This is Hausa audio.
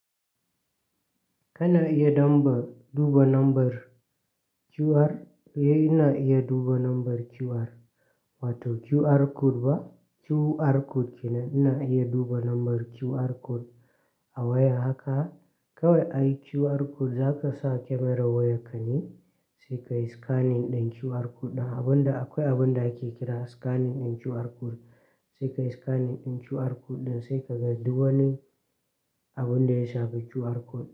Kana iya damba duba number QR, eh ina iya duba number QR wato QR code ba QR code kenan. Ina iya duba number QR code a waya haka kawai. Ai QR code za ka sa camerar wayar ka ne sai ka yi scanning ɗin QR code ɗin. Abin da akwai abin da ake kira scanning ɗin QR code sai ka yi scanning ɗin QR code ɗin sai ka ga duk wani abin da ya shafi QR code.